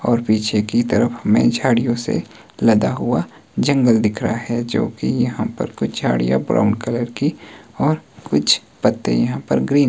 और पीछे की तरफ हमें झाड़ियां से लदा हुआ जंगल दिख रहा है जो कि यहां पर कुछ झाड़ियां ब्राउन कलर की और कुछ पत्ते यहां पर ग्रीन --